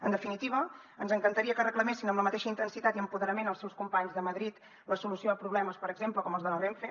en definitiva ens encantaria que reclamessin amb la mateixa intensitat i empoderament els seus companys de madrid la solució a problemes per exemple com els de la renfe